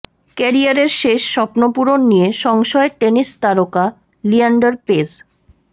কেরিয়ারের শেষ স্বপ্নপূরণ নিয়ে সংশয়ে টেনিস তারকা লিয়েন্ডার পেজ